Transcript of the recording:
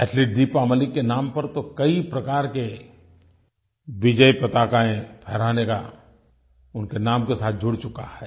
athlete Deepa Malik के नाम पर तो कई प्रकार के विजयपताकायें फहराने का उनके नाम के साथ जुड़ चुका है